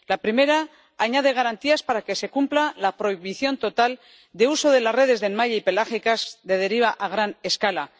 La primera añade garantías para que se cumpla la prohibición total del uso de las redes de enmalle y pelágicas de deriva a gran escala.